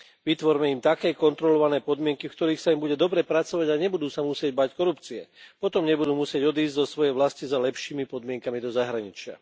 Vytvorme im také kontrolované podmienky, v ktorých sa im bude dobre pracovať a nebudú sa musieť báť korupcie, potom nebudú musieť odísť zo svojej vlasti za lepšími podmienkami do zahraničia.